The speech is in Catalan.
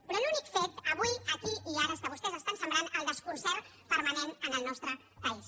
però l’únic fet avui aquí i ara és que vostès estan sembrant el desconcert permanent en el nostre país